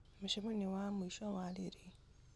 mũcemanio wa mũico warĩ rĩ